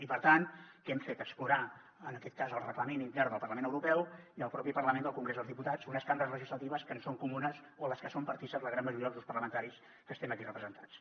i per tant què hem fet explorar en aquest cas el reglament intern del parlament europeu i el propi parlament del congrés dels diputats unes cambres legislatives que ens són comunes en les que són partícips la gran majoria dels grups parlamentaris que estem aquí representats